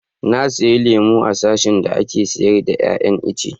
Na siya lemun a sashin da ake sayar da iya iyan ice.